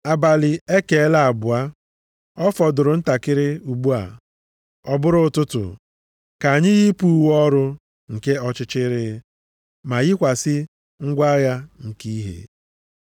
Abalị ekeela abụọ, ọ fọdụrụ ntakịrị ugbu a, ọ bụrụ ụtụtụ. Ka anyị yipụ uwe ọrụ nke ọchịchịrị, ma yikwasị ngwa agha nke ìhè.